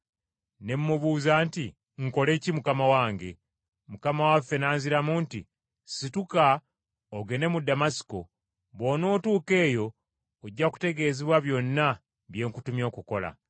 “Ne mmubuuza nti, ‘Nkole ki, Mukama wange?’ “Mukama waffe n’anziramu nti, ‘Yimuka ogende mu Damasiko, bw’onootuuka eyo ojja kutegeezebwa byonna bye nkutumye okukola.’